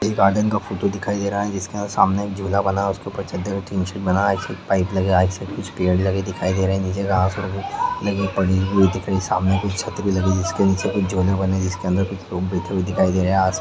ये एक गार्डन का फोटो दिखाई दे रहा है जिसके अंदर सामने झूला बना हुआ जिसके अंदर चदर का टीन शीट बनाये से पाइप लगये से कुछ पेड़ लगे दिखाई दे रहे है जिस जगह आखिर में दिख रही है सामने एक छतरी जिसके नीचे झूले बने है जिसके नीचे कुछ लोग बैठे दिखाई दे रहा है।